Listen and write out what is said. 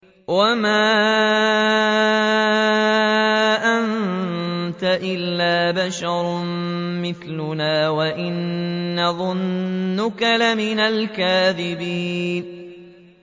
وَمَا أَنتَ إِلَّا بَشَرٌ مِّثْلُنَا وَإِن نَّظُنُّكَ لَمِنَ الْكَاذِبِينَ